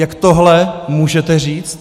Jak tohle můžete říci?